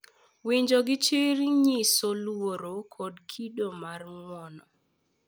Winjo gi chir nyiso luor kod kido mar ng’uono,